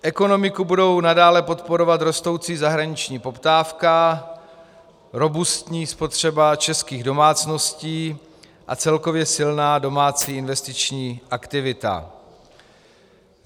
Ekonomiku budou nadále podporovat rostoucí zahraniční poptávka, robustní spotřeba českých domácností a celkově silná domácí investiční aktivita.